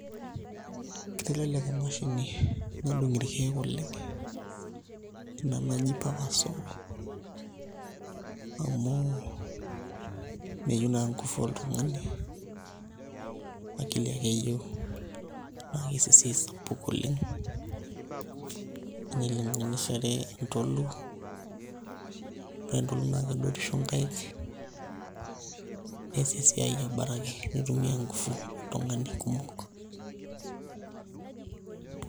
Kitelelek emashini nadung' irkeek oleng' ina naji power saw amu meyieu naa nguvu oltung'ani akili ake eyieu naa kees esiai sapuk oleng' enilinganishiare entolu ore entolu naa kedotisho nkaik nees esiai abaraki nitumiaa nguvu oltung'ani kumok.